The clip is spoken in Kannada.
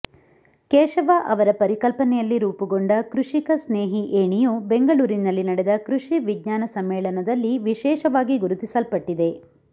ಕೇಶವ ಅವರ ಪರಿಕಲ್ಪನೆಯಲ್ಲಿ ರೂಪುಗೊಂಡ ಕೃಷಿಕ ಸ್ನೇಹಿ ಏಣಿಯು ಬೆಂಗಳೂರಿನಲ್ಲಿ ನಡೆದ ಕೃಷಿ ವಿಜ್ಞಾನ ಸಮ್ಮೇಳನದಲ್ಲಿ ವಿಶೇಷವಾಗಿ ಗುರುತಿಸಲ್ಪಟ್ಟಿದೆ